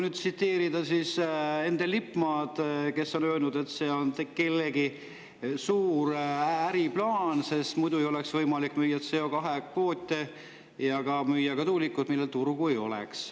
Endel Lippmaa on öelnud, et see on kellegi suur äriplaan, sest muidu ei oleks võimalik müüa CO2-kvoote ja ka tuulikuid, millel turgu ei oleks.